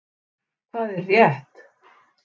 Hvað er rétt?